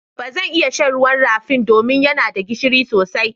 Ba zan iya shan ruwan rafin do min ya na da gishiri sosai.